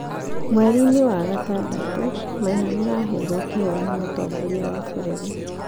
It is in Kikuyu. Mweri-inĩ wa Juni, Maina nĩ aaheirũo kĩheo nĩ mũtongoria wa bũrũri.